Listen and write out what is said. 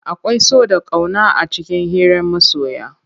Akwai so da ƙauna a cikin hiran masoya.